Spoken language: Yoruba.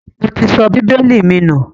Mo ti sọ bíbélì mi nù